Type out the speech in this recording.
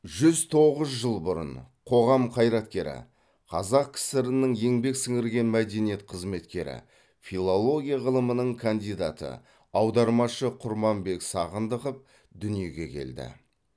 жүз тоғыз жыл бұрын қоғам қайраткері қазақ кср нің еңбек сіңірген мәдениет қызметкері филология ғылымының кандидаты аудармашы құрманбек сағындықов дүниеге келді